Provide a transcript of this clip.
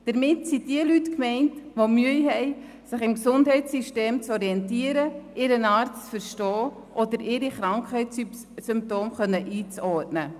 Damit sind diejenigen Leute gemeint, die Mühe haben, sich im Gesundheitssystem zu orientieren, ihren Arzt zu verstehen oder ihre Krankheitssymptome einzuordnen.